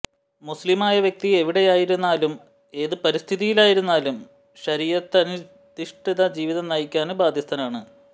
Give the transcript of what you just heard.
മുസ്ലിമായ വ്യക്തി എവിടെയായിരുന്നാലും ഏത് പരിതസ്ഥിതിയിലായിരുന്നാലും ശരീഅത്തധിഷ്ഠിത ജീവിതം നയിക്കാന് ബാധ്യസ്ഥനാണ്